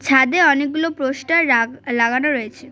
ছাদে অনেকগুলো পোস্টার রাগ লাগানো রয়েছে।